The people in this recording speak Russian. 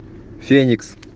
феникс